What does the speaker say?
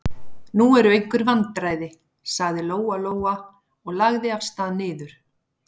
Nú eru einhver vandræði, sagði Lóa-Lóa og lagði af stað niður.